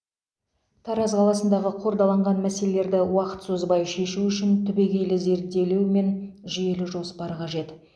тараз қаласындағы қордаланған мәселелерді уақыт созбай шешу үшін түбегейлі зерделеу мен жүйелі жоспар қажет